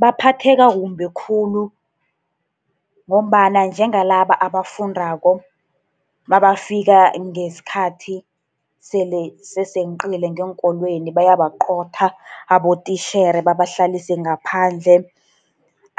Baphatheka kumbi khulu, ngombana njengalaba abafundako, nabafika ngesikhathi sele seseqile ngeenkolweni, bayabaqotha abotitjhere, babahlalise ngaphandle.